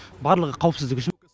барлығы қауіпсіздік үшін